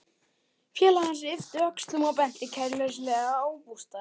Félagi hans yppti öxlum og benti kæruleysislega á bústaðinn.